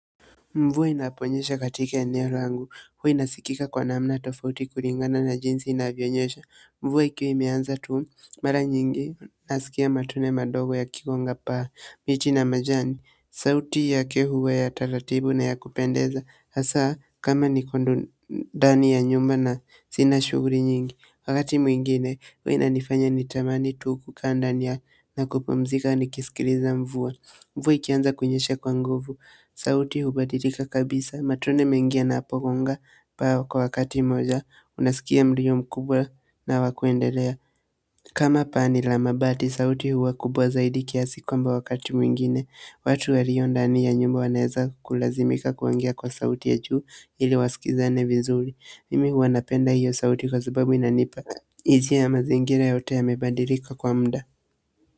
Mvua inaponyesha katika eneo langu huwa inasikika kwa namna tofauti kulingana na jinsi inavyonyesha mvua ikiwa imeanza tu mara nyingi nasikia matone madogo ikigonga paa, miti na majani sauti yake huwa ya taratibu na ya kupendeza, hasa kama niko ndani ya nyumba na sina shughuli nyingi. Wakati mwingine huwa inanifanya nitamani tu kukaa ndani na kupumzika nikisikiliza mvua mvua ikianza kunyesha kwa nguvu, sauti hubadilika kabisa, matone mengi yanapogonga paa kwa wakati mmoja, unasikia mlio mkubwa na wa kuendelea kama paa ni la mabati, sauti huwa kubwa zaidi kiasi kwamba wakati mwingine, watu waliondani ya nyumba wanaweza kulazimika kuongea kwa sauti ya juu ili wasikilizane vizuri, mimi huwa napenda hiyo sauti kwa sababu inanipa hisia ya mazingira yote yamebadilika kwa muda.